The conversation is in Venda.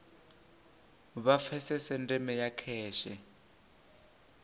vha pfesese ndeme ya kheshe